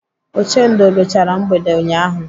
Ochendo ruchara mgbede ụnyaahụ.